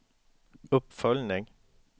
uppföljning